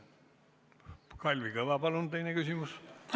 Kalvi Kõva, palun teine küsimus!